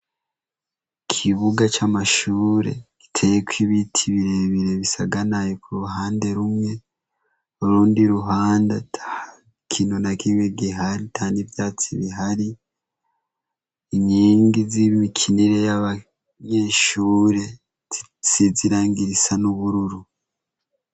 Ikibuga c'amashure giteye ko ibiti birebire bisaganaye ku ruhande rumwe urundi ruhande ikintu ata kintu na kimwe gihari ata n'ivyatsi bihari inkingi z'ibiti n'abanyeshure zisize irangi risa n'ubururu